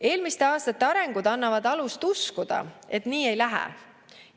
Eelmiste aastate arengud annavad alust uskuda, et nii ei lähe.